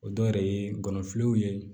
O dɔw yɛrɛ ye ngɔnɔfilɛw ye